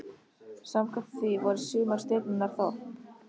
Samkvæmt því voru sumar stjörnurnar þorp.